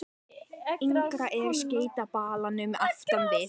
Yngra er að skeyta balanum aftan við.